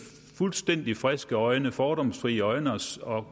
fuldstændig friske øjne fordomsfrie øjne